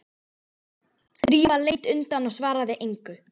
Drífa leit undan og svaraði engu.